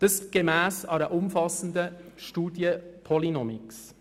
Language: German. Dies gemäss einer umfassenden Studie von Polynomics.